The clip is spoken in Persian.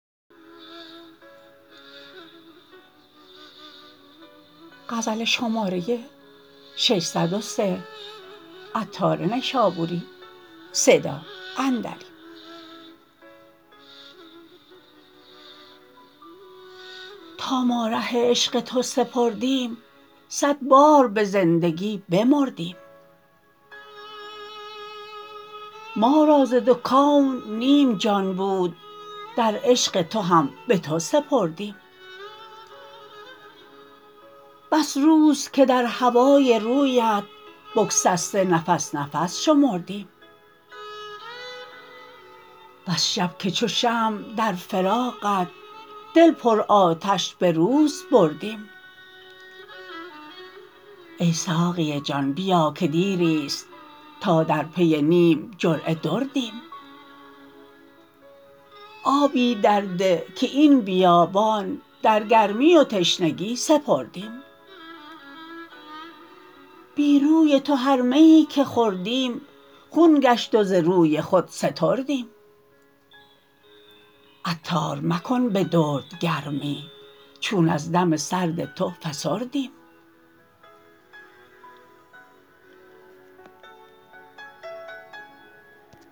تا ما ره عشق تو سپردیم صد بار به زندگی بمردیم ما را ز دو کون نیم جان بود در عشق تو هم به تو سپردیم بس روز که در هوای رویت بگسسته نفس نفس شمردیم بس شب که چو شمع در فراقت دل پر آتش به روز بردیم ای ساقی جان بیا که دیری است تا در پی نیم جرعه دردیم آبی در ده که این بیابان در گرمی و تشنگی سپردیم بی روی تو هر میی که خوردیم خون گشت و ز روی خود ستردیم عطار مکن به درد گرمی چون از دم سرد تو فسردیم